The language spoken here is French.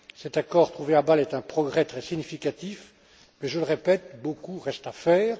Cet accord trouvé à Bâle est un progrès très significatif, mais je le répète, beaucoup reste à faire.